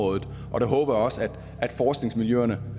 og jeg håber også at forskningsmiljøerne